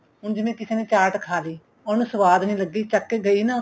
ਹੁਣ ਜਿਵੇਂ ਕਿਸੇ ਨੇ ਚਾਟ ਖਾ ਲਈ ਉਹਨੂੰ ਸੁਆਦ ਨਹੀਂ ਲੱਗੀ ਚੱਕ ਕੇ ਗਈ ਨਾ ਉੱਥੇ